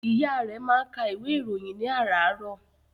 Ìyá rẹ̀ máa ń ka ìwé ìròyìn ní àràárọ̀.